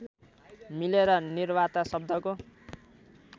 मिलेर निवार्ता शब्दको